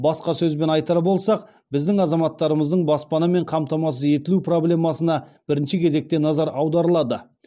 басқа сөзбен айтар болсақ біздің азаматтарымыздың баспанамен қамтамасыз етілу проблемасына бірінші кезекте назар аударылады